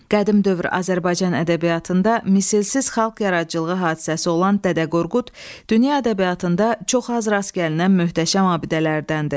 Qədim dövr Azərbaycan ədəbiyyatında misilsiz xalq yaradıcılığı hadisəsi olan Dədə Qorqud dünya ədəbiyyatında çox az rast gəlinən möhtəşəm abidələrdəndir.